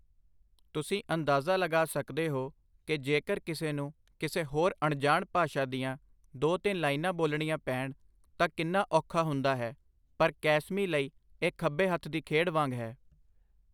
ਤੁਸੀਂ ਅੰਦਾਜ਼ਾ ਲਗਾ ਸਕਦੇ ਹੋ ਕੀ ਜੇਕਰ ਕਿਸੇ ਨੂੰ ਕਿਸੇ ਹੋਰ ਅਣਜਾਣ ਭਾਸ਼ਾ ਦੀਆਂ ਦੋ ਤਿੰਨ ਲਾਈਨਾਂ ਬੋਲਣੀਆਂ ਪੈਣ ਤਾਂ ਕਿੰਨਾ ਔਖਾ ਹੁੰਦਾ ਹੈ ਪਰ ਕੈਸਮੀ ਲਈ ਇਹ ਖੱਬੇ ਹੱਥ ਦੀ ਖੇਡ ਵਾਂਗ ਹੈ।